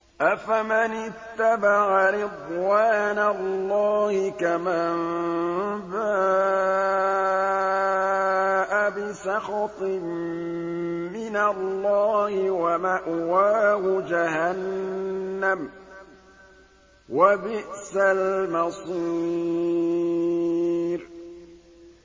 أَفَمَنِ اتَّبَعَ رِضْوَانَ اللَّهِ كَمَن بَاءَ بِسَخَطٍ مِّنَ اللَّهِ وَمَأْوَاهُ جَهَنَّمُ ۚ وَبِئْسَ الْمَصِيرُ